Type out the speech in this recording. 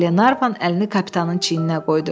Qlenarvan əlini kapitanın çiyninə qoydu.